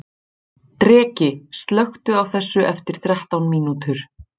Dreki, slökktu á þessu eftir þrettán mínútur.